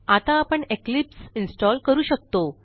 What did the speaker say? आता आपण Eclipse install करू शकतो